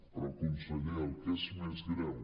però conseller el que és més greu